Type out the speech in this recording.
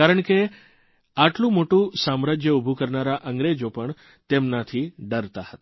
કારણ કે આટલું મોટું સામ્રાજ્ય ઉભું કરનારા અંગ્રેજો પણ તેમનાથી ડરતા હતા